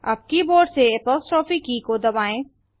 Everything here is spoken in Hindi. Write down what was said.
अब कीबोर्ड से अपोस्ट्रोफ की दबाएँ